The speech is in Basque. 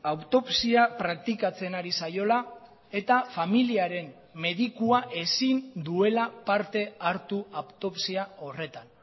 autopsia praktikatzen ari zaiola eta familiaren medikua ezin duela parte hartu autopsia horretan